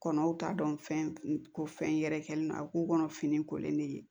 Kɔnɔw t'a dɔn fɛn ko fɛn yɛrɛ kɛlen na a k'u kɔnɔ fini kolen de ye